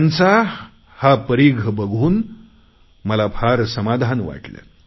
यांचा आवाका परीघ बघून मला फार समाधान वाटले